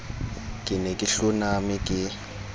ke ne ke hloname ke